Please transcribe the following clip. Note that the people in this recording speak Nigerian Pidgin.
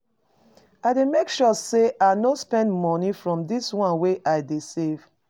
I dey make sure sey I no spend moni from di one wey I dey save.